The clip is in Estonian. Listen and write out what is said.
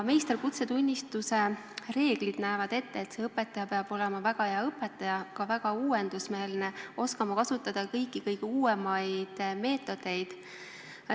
Meisterõpetaja kutsetunnistuse reeglid näevad ette, et see õpetaja peab olema väga hea õpetaja, ka väga uuendusmeelne, oskama kasutada kõiki kõige uuemaid meetodeid.